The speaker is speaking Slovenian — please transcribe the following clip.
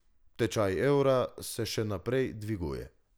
Tečaj evra se še naprej dviguje.